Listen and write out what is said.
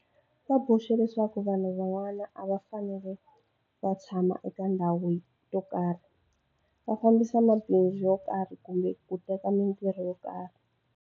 Va boxe leswaku vanhu van'wana a va fanele va tshama eka ndhawu to karhi, va fambisa mabindzu yo karhi kumbe ku teka mitirho yo karhi.